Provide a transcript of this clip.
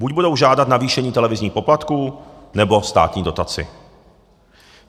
Buď budou žádat navýšení televizních poplatků, nebo státní dotaci.